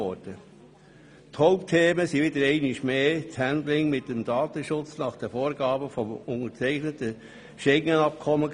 Die Hauptthemen waren einmal mehr das Handling mit dem Datenschutz nach den Vorgaben des unterzeichneten SchengenAbkommens.